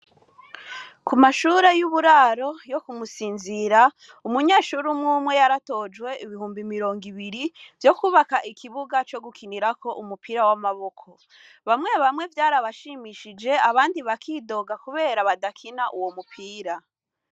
Ku mashure y'uburaro yo kumusinzira umunyeshuri mwumwe yaratojwe ibihumbi mirongo ibiri vyo kwubaka ikibuga co gukinirako umupira w'amaboko bamwe bamwe vyarabashimishije abandi bakidoga, kubera badakina uwo mupira.